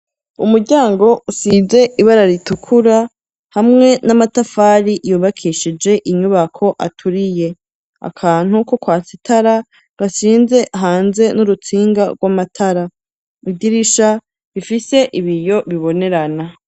Umuryango usize ibara ritukura, hamwe n'amatafari yubakishije inyubako aturiye. Akantu ko kwatsa itara gansize hanze n'urutsinga rw'amatara .Idirisha rifise ibiyo bibonerana.